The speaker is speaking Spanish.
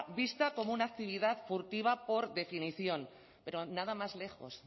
vista como una actividad furtiva por definición pero nada más lejos